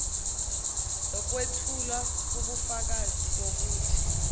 lokwethula ubufakazi bokuthi